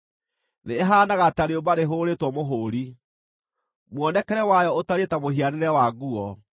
Thĩ ĩhaanaga ta rĩũmba rĩhũrĩtwo mũhũũri; mũonekere wayo ũtariĩ ta mũhianĩre wa nguo.